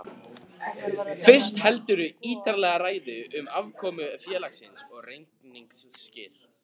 Fyrst heldurðu ítarlega ræðu um afkomu félagsins og reikningsskil.